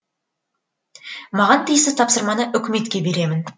маған тиісті тапсырманы үкіметке беремін